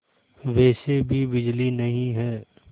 वैसे भी बिजली नहीं है